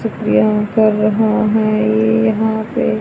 शुक्रिया कर रहा है ये यहां पे--